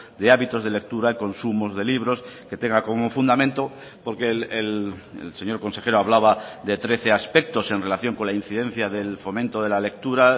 de hábitos de lectura consumos de libros que tenga como fundamento porque el señor consejero hablaba de trece aspectos en relación con la incidencia del fomento de la lectura